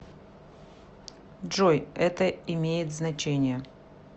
джой это имеет значение